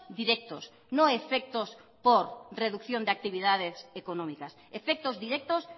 directos no efectos por reducción de actividades económicas efectos directos